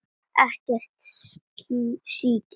Ekkert síki.